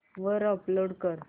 वर अपलोड कर